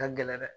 Ka gɛlɛn dɛ